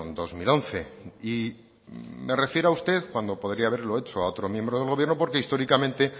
dos mil once y me refiero a usted cuando podría haberlo hecho a otro miembro del gobierno porque históricamente